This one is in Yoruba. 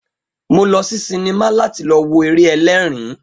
Mo lọ sí sinimá láti lọ wo eré ẹlẹ́ẹ̀rin